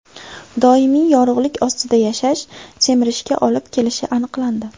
Doimiy yorug‘lik ostida yashash semirishga olib kelishi aniqlandi.